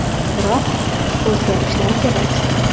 Biroq, o‘zgarishlar kerak.